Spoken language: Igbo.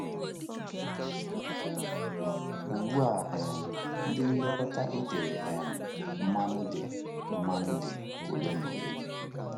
Ugbu a, um ndị nlekọta etere um mmanụ dị mmanụ dị ole na ole.